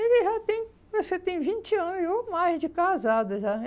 Ele já tem, acho que tem vinte anos ou mais de casada já.